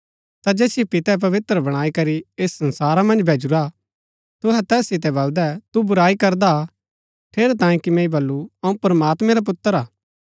ता जैसियो पितै पवित्र बणाई करी ऐस संसारा मन्ज भैजुरा तुहै तैस सितै बलदै तू बुराई करदा हा ठेरैतांये कि मैंई बल्लू अऊँ प्रमात्मैं रा पुत्र हा